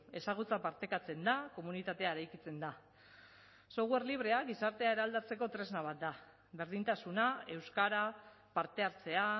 ezagutza partekatzen da komunitatea eraikitzen da software librea gizartea eraldatzeko tresna bat da berdintasuna euskara parte hartzea